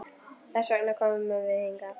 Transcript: Þess vegna komum við hingað.